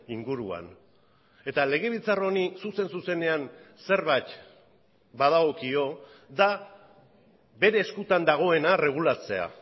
inguruan eta legebiltzar honi zuzen zuzenean zerbait badagokio da bere eskutan dagoena erregulatzea